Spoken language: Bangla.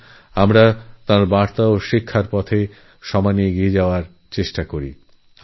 আসুন আমরাতাঁর বাণী ও শিক্ষা মেনে জীবনে অগ্রসর হওয়ার চেষ্টা করি